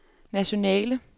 nationale